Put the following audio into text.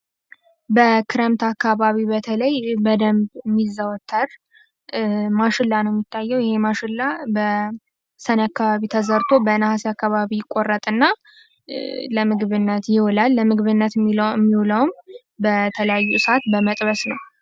በክረምት አካባቢ በተለይ በደንብ የሚዘወትር ማሸላ ነው የሚታየው ይህ ማሽላ በሰኔ አካባቢ ተዘርቶ በነሀሴ አካባቢ ይቆረጥና ለምግብነት ይውላል ለምግብነት የሚውለውም በተለያየ እሳት በመጥበስ ነው።